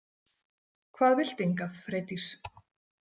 Hvað viltu hingað, Freydís?